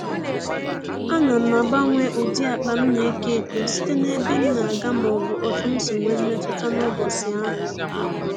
Ana m agbanwe ụdị akpa m na-eko eko site n'ebe m na-aga maọbụ otu si nwe mmetụta n'ụbọchị ahụ